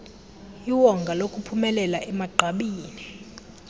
iwonga lokuphumelela emagqabini